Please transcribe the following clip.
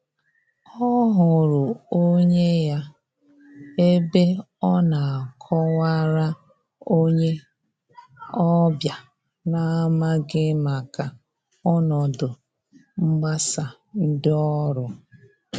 Ọ hụrụ onye ya ebe ọ na akọ wara onye ọbịa na n'amaghi maka ọnọdụ mgbasa ndị ọrụ.